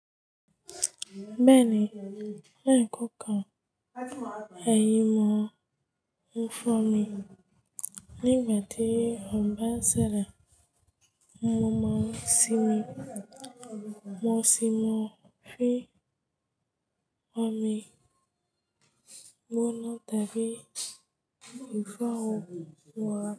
Bẹ́ẹ̀ni, ẹ̀yí kò kàn ẹ̀yin wọn fún mi nígbà tí ó bá ṣẹlẹ̀, mo máa sinmi. Mo sì máa fín ọmọ mi gbóná tàbí ìfúnàwọ̀ fún wa.